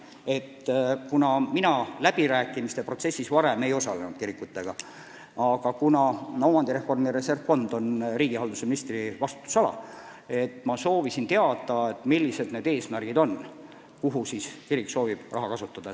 Varem ma kirikutega kiriläbirääkimiste protsessis ei osalenud, aga kuna omandireformi reservfond on riigihalduse ministri vastutusala, siis ma soovisin teada, milleks kirik soovib raha kasutada.